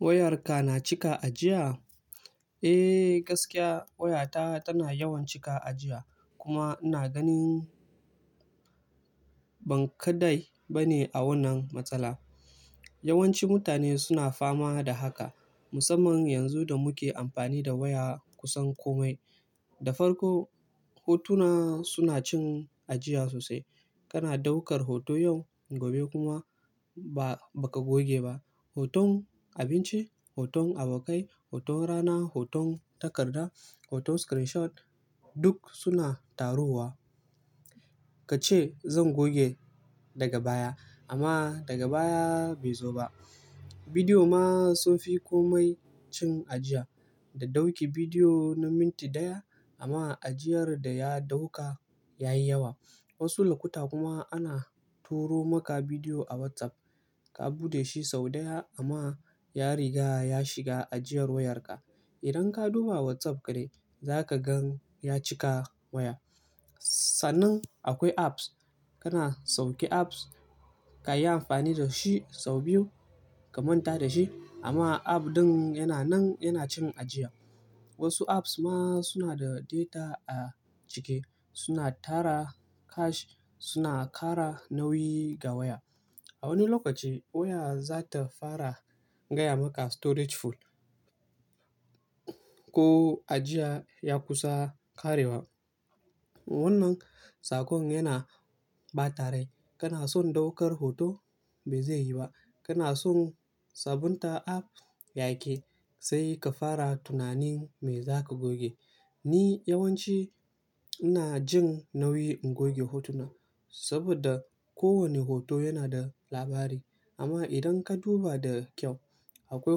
Wayarka na cika ajiya? Eh, gaskiya wayata tana yawan cika ajiya kuma ina ganin ban ka dai ba ne a wannan matsala. Yawanci mutane suna fama da haka, musamman yanzu da muke amfani da waya kusan komai. Da farko, hotuna suna cin ajiya sosai. Kana daukar hoto yau, gobe kuma ba ka goge ba. Hoton abinci, hoton abokai, hoton rana, hoton takarda, hoton screenshot, duk suna taruwa. Ka ce zan goge daga baya, amma daga baya bai zo ba. Bidiyo ma sun fi komai cin ajiya. Da dauki bidiyo na minti ɗaya amma ajiyar da ya dauka ya yi yawa. Wasu lokuta kuma ana turo maka bidiyo a WhatsApp, ka buɗe shi sau ɗaya amma ya riga ya shiga ajiyar wayarka. Idan ka duba WhatsApp ka dai, za ka gan ya cika waya. Sannan akwai apps, kana sauke app, ka yi amfani da shi sau biyu ka manta da shi amma app ɗin yana nan yana cin ajiya. Wasu apps ma suna da data a cike, suna tara cache, suna ƙara nauyi ga waya. A wani lokaci waya za ta fara gaya maka "Storage full" ko ajiya ya kusa ƙarewa. Wannan sakon yana ɓata rai. Kana son daukar hoto ba zai yi ba. Kana son sabunta app yaƙi, sai ka fara tunanin me za ka goge. Ni yawanci ina jin nauyi in goge hotuna saboda kowane hoto yana da labari. Amma idan ka duba da kyau, akwai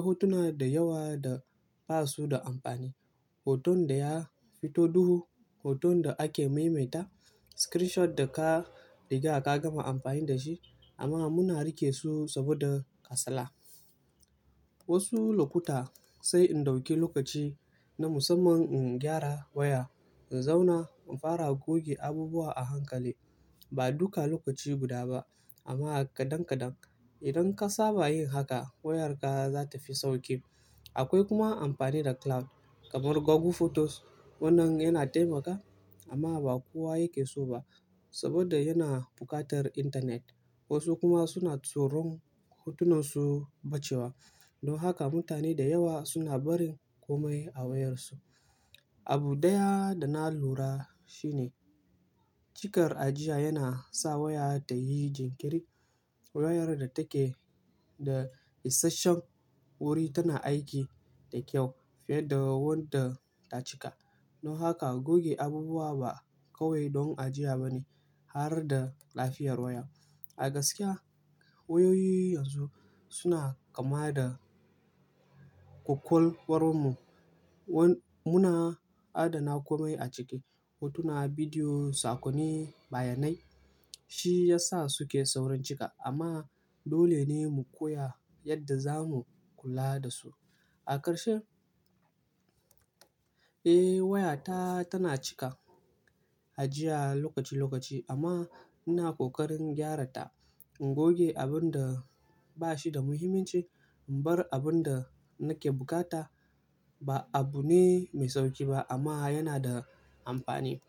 hotuna da yawa da basu da amfani. Hoton da ya fito duhu, hoton da ake maimaita, screenshot da ka riga ka gama amfani da shi amma muna rike su saboda kasala. Wasu lokuta sai in dauki lokaci na musamman in gyara waya, in zauna in fara goge abubuwa a hankali. Ba duka lokaci guda ba amma kaɗan kaɗan. Idan ka saba yin haka, wayarka za ta fi sauƙi. Akwai kuma amfani da cloud, kamar Google Photos. Wannan yana taimakawa amma ba kowa yake so ba saboda yana buƙatar intanet. Wasu kuma suna tsoron hotunansu ɓacewa. Don haka mutane da yawa suna barin komai a wayarsu. Abu ɗaya da na lura shi ne cikar ajiya yana sa waya ta yi jinkiri. Wayar da take da isasshen wuri tana aiki da kyau fiye da wadda ta cika. Don haka goge abubuwa ba kawai don ajiya ba ne, har da lafiyar waya. A gaskiya wayoyi yanzu suna kama da kwakwalwarmu wan. Muna adana komai a ciki, hotuna, bidiyo, sakonni, bayanai. Shi ya sa suke saurin cika amma dole ne mu koya yadda zamu kula da su. A ƙarshe, eh wayata tana cika ajiya lokaci-lokaci amma ina ƙoƙarin gyara ta. In goge abin da ba shi da muhimmanci, in bar abin da nake bukata. Ba abu ne mai sauƙi ba amma yana da amfani.